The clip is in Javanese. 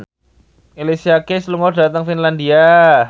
Alicia Keys lunga dhateng Finlandia